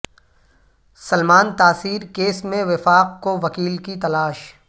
Salman Taseer case میں وفاق کو وکیل کی تلاش